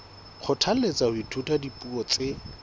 kgothalletswa ho ithuta dipuo tse